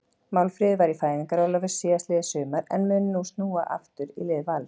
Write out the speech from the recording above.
Málfríður var í fæðingarorlofi síðastliðið sumar en mun nú snúa aftur í lið Vals.